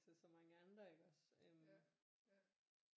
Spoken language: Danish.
Til så mange andre iggås øh